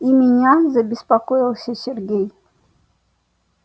и меня забеспокоился сергей